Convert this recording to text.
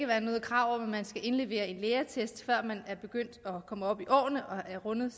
være noget krav om at indlevere en lægeattest før man er begyndt at komme op i årene og har rundet